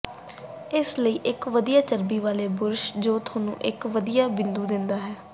ਇਸ ਲਈ ਇੱਕ ਵਧੀਆ ਚਰਬੀ ਵਾਲੇ ਬੁਰਸ਼ ਜੋ ਤੁਹਾਨੂੰ ਇੱਕ ਵਧੀਆ ਬਿੰਦੂ ਦਿੰਦਾ ਹੈ